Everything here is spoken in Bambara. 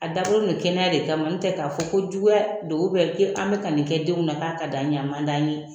A dabɔlen de don kɛnɛya de kama den a tɛ k'a fɔ ko juguya don an bɛ ka nin kɛ denw na k'a ka d'an ye !